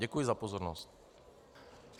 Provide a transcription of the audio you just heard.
Děkuji za pozornost.